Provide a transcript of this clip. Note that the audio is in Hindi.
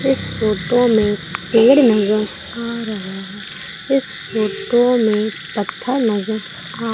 इस फोटो में पेड़ नजर आ रहा है इस फोटो में पत्थर नजर आ --